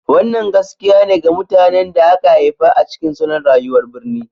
Wannan gaskiya ne ga mutanen da aka haifa a cikin salon rayuwar birni.